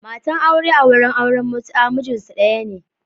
Matan aure a wurin auren mutu’a mijinsu daya ne.